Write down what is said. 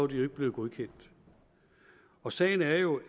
de ikke blevet godkendt og sagen er jo